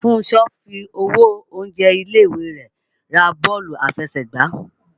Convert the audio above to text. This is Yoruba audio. Fúnṣọ fi owó oúnjẹ ilé-ìwé rẹ̀ ra bọ́ọ̀lù aláfẹsẹ̀gbá